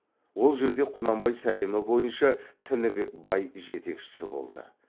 ол жерде құнанбай сәлемі бойынша тінібек бай жетекшісі болды